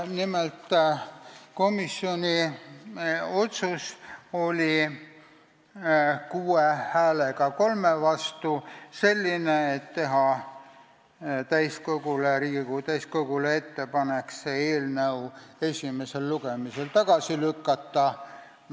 Nimelt, komisjoni otsus oli teha Riigikogu täiskogule ettepanek see eelnõu esimesel lugemisel tagasi lükata.